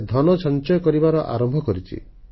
ସେ ଧନ ସଂଚୟ କରିବା ଆରମ୍ଭ କରିଛି